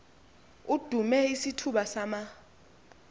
idume isithuba sama